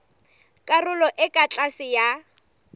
karolong e ka tlase ya